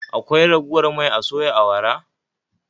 Akwai ragowar mai a soya awara?